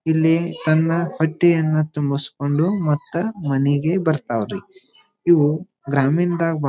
ಇಲ್ಲಿ ತನ್ನ ಹತ್ತಿಯನ್ನ ತುಂಬಿಸಿಕೊಂಡು ಮತ್ತ ಮನಿಗೆ ಬರ್ತಾವ್ ರೀ ಇವು ಗ್ರಾಮೀಣದಾಗ--